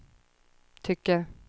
tycker